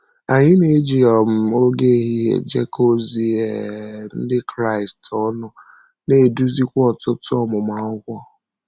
Anyị na-eji um ògé ehihie ejekọ ozi um Ndị Kraịst ọnụ, na-edùzìkwa ọ̀tụ̀tụ̀ ọmụmụ akwụkwọ.